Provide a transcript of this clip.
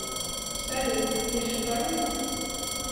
салют я шикарная